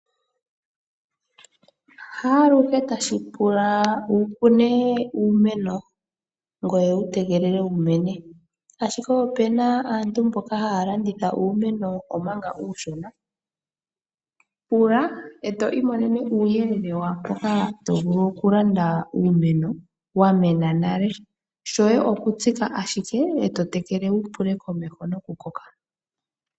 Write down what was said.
Haaluhe tashi pula wu kune uumeno ngoye wu tegelele wumene, ashike opuna aantu mboka haya landitha uumeno omanga uushona. Pula eto i monene uuyelele waampoka to vulu okulande uumeno wa mena nale, shoye okutsika ashike eto tekele wo wu pilule komeho nokukoka.